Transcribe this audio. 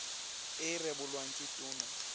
e e rebolwang ke tona